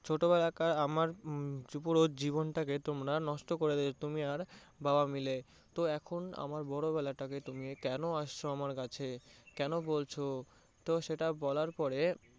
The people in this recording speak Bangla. ছোটবেলাকার আমার পুরো জীবন তাকে তোমরা নষ্ট করে দিয়েছো তুমি আর বাবা মিলে তো এখন আমার বড়োবেলাতে তুমি কেন আসছো আমার কাছে, কেন বলছো তো সেটা বলার পরে